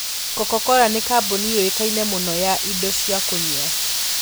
Coca-Cola nĩ kambuni ũĩkaine mũno ya indo cia kũnyua.